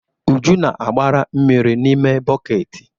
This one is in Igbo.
Uju na-agbara mmiri n'ime bọket.